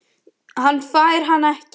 Hann fær hana ekki.